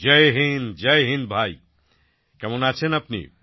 জয় হিন্দ জয় হিন্দ ভাই কেমন আছেন আপনি